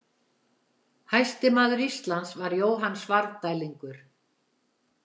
Hæsti maður Íslands var Jóhann Svarfdælingur.